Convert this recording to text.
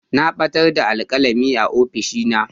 Na batar da alkalami a ofishina.